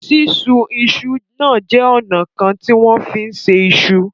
Sísun iṣu náà jẹ́ ọ̀nà kan tí wọ́n fi ń se iṣu.